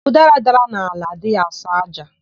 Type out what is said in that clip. Ụdara dara n'ala, adịghị asọ ájá.